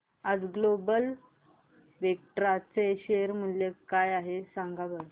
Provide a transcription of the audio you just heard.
आज global Vectra चे share मूल्य काय आहे सांगा बरं